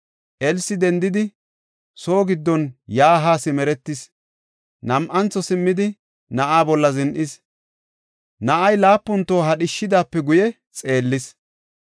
Elsi dendidi, soo giddon yaa haa simeretis. Nam7antho simmidi, na7aa bolla zin7is; na7ay laapun toho hadhishidaape guye xeellis.